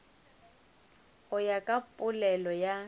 go ya ka polelo ya